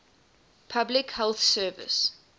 public health service